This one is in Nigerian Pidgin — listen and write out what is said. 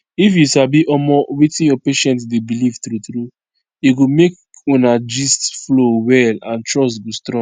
if you sabi omo wetin your patient dey believe true true e go make una gist flow well and trust go strong